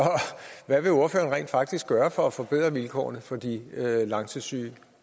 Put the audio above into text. hvad vil ordføreren rent faktisk gøre for at forbedre vilkårene for de langtidssyge